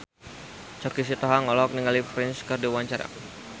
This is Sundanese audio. Choky Sitohang olohok ningali Prince keur diwawancara